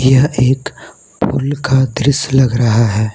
यह एक पुल का दृश्य लग रहा है।